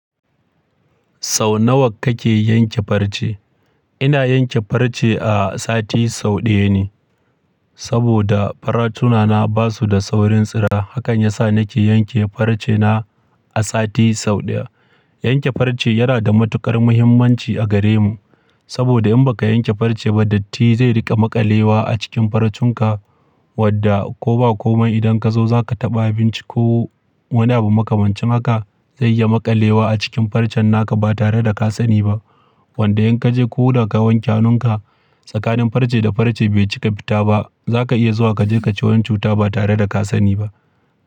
Sau nawa kake yanke farce? Ina yanke farce a sati sau ɗaya ne. Saboda faratuna na basu da saurin tsira, hakan yasa nake yanke farce na a sati sau ɗaya. Yanke farce yana da matuƙar muhimmanci a gare mu. Saboda in baka yanke farce ba datti zai riƙa maƙalewa a cikin farcenka wadda ko ba komai idan ka zo za ka taɓa abinci ko wani abu makamancin haka zai yi maƙalewa a cikin farcen naka ba tare da ka sani ba. Wanda in ka je ko da ka wanke hannunka tsakanin farce da farce bai cika fita ba, za ka iya zuwa ka je ka ci wani cuta ba tare da ka sani ba.